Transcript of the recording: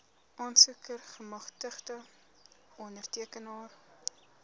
aansoeker gemagtigde ondertekenaar